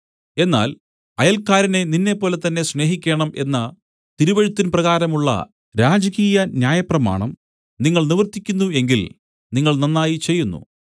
എന്നാൽ അയൽക്കാരനെ നിന്നെപ്പോലെതന്നെ സ്നേഹിക്കേണം എന്ന തിരുവെഴുത്തിൻപ്രകാരമുള്ള രാജകീയ ന്യായപ്രമാണം നിങ്ങൾ നിവർത്തിയ്ക്കുന്നു എങ്കിൽ നിങ്ങൾ നന്നായി ചെയ്യുന്നു